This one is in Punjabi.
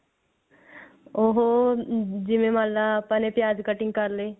ਉਹ ਜਿਵੇਂ ਮੰਨ ਲੈ ਆਪਾਂ ਨੇ ਪਿਆਜ cutting ਕਰ ਲਏ